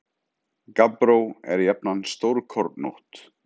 Gabbró er jafnan stórkornótt.